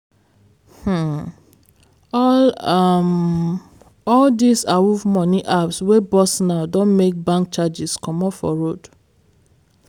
um all um all these awuf money apps wey burst now don make bank charges comot for road.